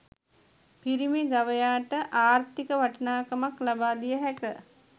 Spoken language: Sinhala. පිරිමි ගවයාට ආර්ථික වටිනාකමක් ලබා දිය හැක